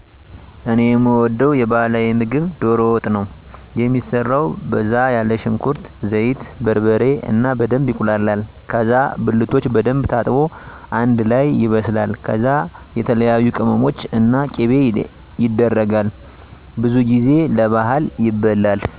እኔ የምወደዉ የባህላዊ ምግብ ዶሮ ወጥ ነው። የሚሰራው በዛ ያለ ሽንኩርት፣ ዘይት፣ በርበሬ እና በደንብ ይቁላላል ከዛ ብልቶች በደንብ ታጥቦ አንደ ላይ ይበስላል ከዛ የተለያዬ ቅመሞች እና ቂቤ የደረጋል። ብዙ ጊዜ ለባህል ይበላል።